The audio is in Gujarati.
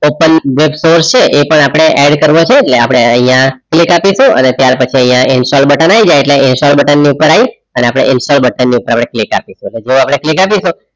open સોર્સ છે એ પણ આપડે add કરવો છે એટલે આપદે આઇયાહ click અપિસું અને ત્યરપછી આઇયાહ ઇન્સ્ટોલ બટન આય જાય એટલે ઇન્સ્ટોલ બટન પર આય અને પછી ઇન્સ્ટોલ બટન પર click આપોસુ જો અપડે click અપિસું